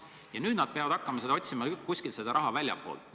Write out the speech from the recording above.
Ja nüüd nad peavad hakkama otsima seda raha kuskilt väljastpoolt.